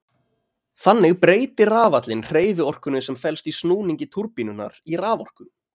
Þannig breytir rafallinn hreyfiorkunni sem felst í snúningi túrbínunnar í raforku.